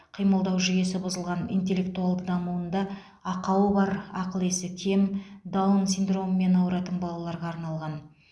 қимылдау жүйесі бұзылған интеллектуалды дамуында ақауы бар ақыл есі кем даун синдромымен ауыратын балаларға арналған